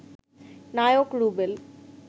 Naik Rubel